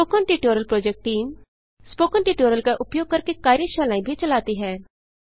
spoken tutorial project team spoken tutorials का उपयोग करके कार्यशालाएँ भी चलाती है